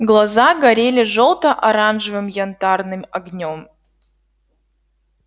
глаза горели жёлто-оранжевым янтарным огнём